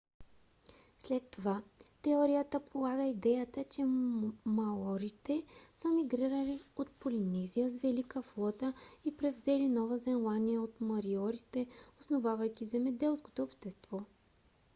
след това теорията полага идеята че маорите са мигрирали от полинезия с велика флота и превзели нова зеландия от мориорите основавайки земеделско общество